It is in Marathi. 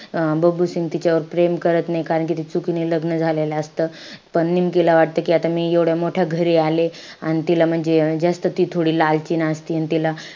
अं बबलू सिंग तिच्यावर प्रेम करत नाई. कारण ते चुकीने लग्न झालेलं असतं. निमकीला वाटतं कि आता मी एवढ्या मोठ्या घरी आली. अन तिला म्हणजे जास्त ती थोडी लालची नसती अन तिला,